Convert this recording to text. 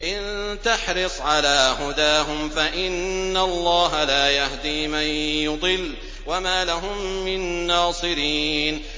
إِن تَحْرِصْ عَلَىٰ هُدَاهُمْ فَإِنَّ اللَّهَ لَا يَهْدِي مَن يُضِلُّ ۖ وَمَا لَهُم مِّن نَّاصِرِينَ